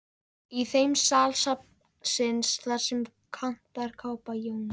Í þeim sal safnsins, þar sem kantarakápa Jóns